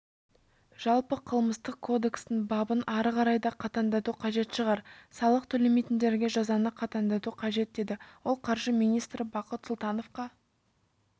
жалпы қылмыстық кодекстің бабын ары қарай да қатаңдату қажет шығар салық төлемейтіндерге жазаны қатаңдату қажет деді ол қаржы министрі бақыт сұлтановқа